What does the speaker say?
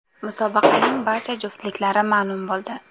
Musobaqaning barcha juftliklari ma’lum bo‘ldi.